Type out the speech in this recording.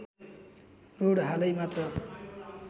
road हालै मात्र